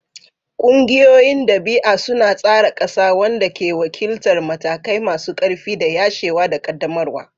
Ƙungiyoyin dabi'a suna tsara ƙasa, wanda ke wakiltar matakai masu ƙarfi na yashewa da ƙaddamarwa.